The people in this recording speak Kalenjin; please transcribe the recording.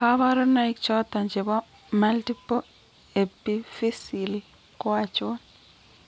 Kabarunaik choton chebo Multiple epiphyseal ko achon ?